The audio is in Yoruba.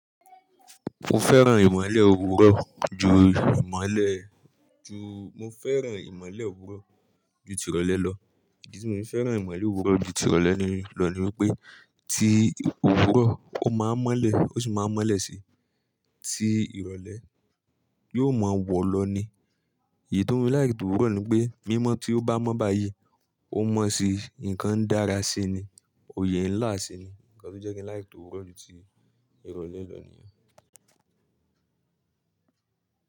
Mo fẹ́ràn ìmọ̀le òwúrọ̀ ju ìmọ̀le ju-- mo fẹ́ràn ìmọ̀le òwúrọ̀ ju ti ìrọ̀lẹ́ lọ. Ìdí tí mo fi fẹ́ràn ìmọ̀le òwúrọ̀ ju ìrọ̀lẹ́ lọ ni wípé, ti òwúrọ̀ ó máa ń mọ́lẹ̀ ó sì máa ń mọ́lẹ̀ síi. Ti ìrọ̀lẹ́ yóò máa wọ̀ lọ ni. Èyí tó ń mú láì tí òwúrọ̀ ni pé, mímọ́ tí ó bá mọ́ bayii, ó mọ́ síi, nǹkan dára síi ni, òye ńlá sì ni. Ǹkan tó jẹ́ kí n láì tí òwúrọ̀ ju tí ìrọ̀lẹ́ lọ nìyẹn.